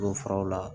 faraw la